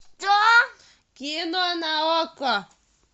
кино на окко